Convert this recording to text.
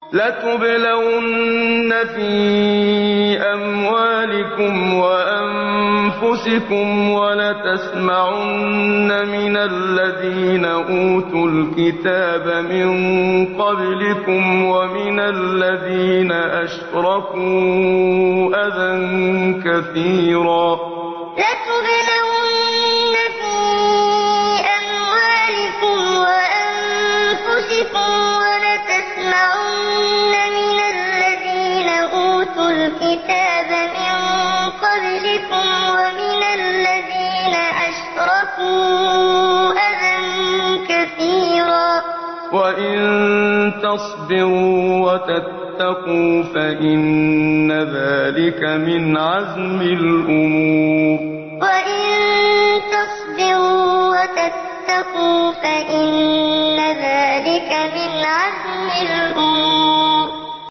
۞ لَتُبْلَوُنَّ فِي أَمْوَالِكُمْ وَأَنفُسِكُمْ وَلَتَسْمَعُنَّ مِنَ الَّذِينَ أُوتُوا الْكِتَابَ مِن قَبْلِكُمْ وَمِنَ الَّذِينَ أَشْرَكُوا أَذًى كَثِيرًا ۚ وَإِن تَصْبِرُوا وَتَتَّقُوا فَإِنَّ ذَٰلِكَ مِنْ عَزْمِ الْأُمُورِ ۞ لَتُبْلَوُنَّ فِي أَمْوَالِكُمْ وَأَنفُسِكُمْ وَلَتَسْمَعُنَّ مِنَ الَّذِينَ أُوتُوا الْكِتَابَ مِن قَبْلِكُمْ وَمِنَ الَّذِينَ أَشْرَكُوا أَذًى كَثِيرًا ۚ وَإِن تَصْبِرُوا وَتَتَّقُوا فَإِنَّ ذَٰلِكَ مِنْ عَزْمِ الْأُمُورِ